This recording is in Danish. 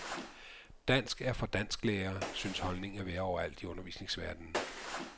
Dansk er for dansklærere, synes holdningen at være overalt i undervisningsverdenen.